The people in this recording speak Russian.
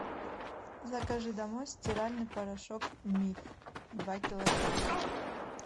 закажи домой стиральный порошок миф два килограмма